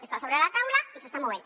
està sobre la taula i s’està movent